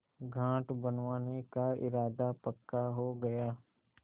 घाट बनवाने का इरादा पक्का हो गया